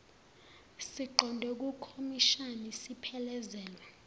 siqonde kukhomishani siphelezelwa